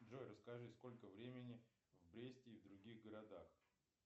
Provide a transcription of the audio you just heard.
джой расскажи сколько времени в бресте и в других городах